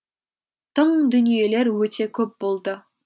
тың дүниелер өте көп болды